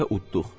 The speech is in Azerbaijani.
Bu dəfə uduq.